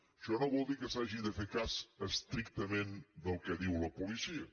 això no vol dir que s’hagi de fer cas estrictament del que diu la policia